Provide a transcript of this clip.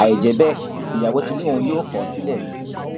àì jẹ bẹẹ ìyàwó tí lòun yóò kọ ọ sílẹ ni